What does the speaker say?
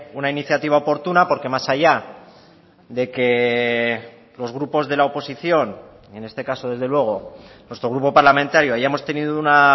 una iniciativa oportuna porque más allá de que los grupos de la oposición en este caso desde luego nuestro grupo parlamentario hayamos tenido una